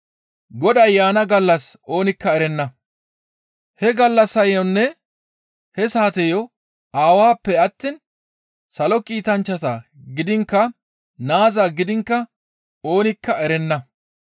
«He gallassayonne he saateyo Aawappe attiin salo kiitanchchata gidiinkka Naaza gidiinkka oonikka erenna.